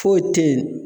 Foyi te yen